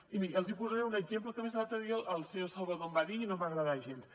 i miri els hi posaré un exemple que a més l’altre dia el senyor salvadó em va dir i no em va agradar gens